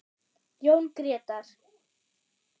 Jón Grétar.